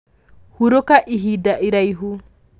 Hurũka ihinda iraihu.